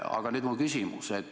Aga nüüd mu küsimus.